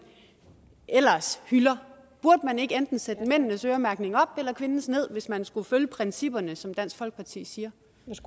ellers hylder burde man ikke indtil sætte mændenes øremærkning op eller kvindernes ned hvis man skulle følge principperne som dansk folkeparti siger